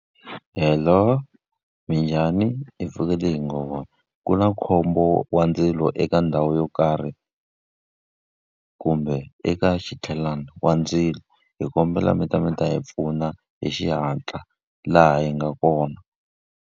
Hello, minjhani? Hi pfukile hi ngo vona. Ku na khombo wa ndzilo eka ndhawu yo karhi kumbe eka wa ndzilo, hi kombela mi ta mi ta hi pfuna hi xihatla laha hi nga kona.